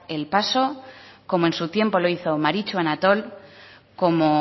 el paso como en tiempo lo hizo maritxu anatol